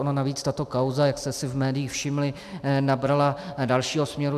Ona navíc tato kauza, jak jste si v médiích všimli, nabrala dalšího směru.